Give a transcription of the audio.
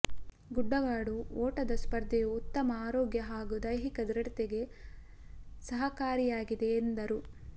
ಗುಡ್ಡಗಾಡು ಓಟದ ಸ್ಪರ್ಧೆಯು ಉತ್ತಮ ಆರೋಗ್ಯ ಹಾಗೂ ದೈಹಿಕ ದೃಢತೆಗೆ ಸಹಕಾರಿಯಾಗಿದೆ ಎಂದರು